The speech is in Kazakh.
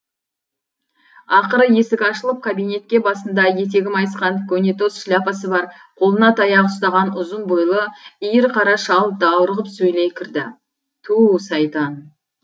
ақыры есік ашылып кабинетке басында етегі майысқан көнетоз шляпасы бар қолына таяқ ұстаған ұзын бойлы иір қара шал даурығып сөйлей кірді ту сайтан